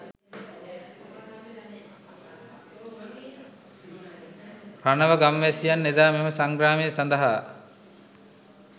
රණව ගම්වැසියන් එදා මෙම සංග්‍රාමය සඳහා